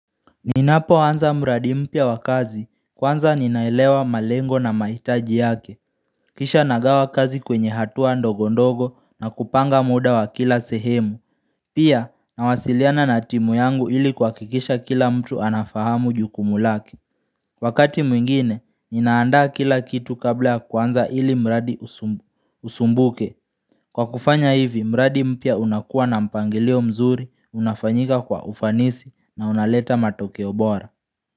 Ninapoanza mradi mpya wa kazi kwanza ninaelewa malengo na maitaji yake Kisha nagawa kazi kwenye hatua ndogondogo na kupanga muda wa kila sehemu Pia nawasiliana na timu yangu ili kuakikisha kila mtu anafahamu jukumu lake Wakati mwingine ninaandaa kila kitu kabla ya kwanza ili mradi usumbuke Kwa kufanya hivi mradi mpya unakua na mpangilio mzuri unafanyika kwa ufanisi na unaleta matokeo bora.